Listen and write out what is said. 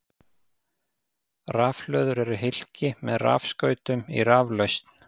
Rafhlöður eru hylki með rafskautum í raflausn.